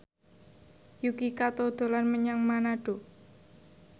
Yuki Kato dolan menyang Manado